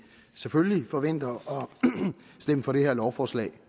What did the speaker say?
selvfølgelig forventer at stemme for det her lovforslag